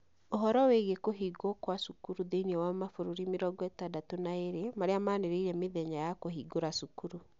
Ũhoro wĩgiĩ kũhingwo kwa cukuru thĩinĩ wa mabũrũri mĩrongo ĩtadatũ na ĩrĩ marĩa maanĩrĩire mĩthenua ya kũhingũra cukuru.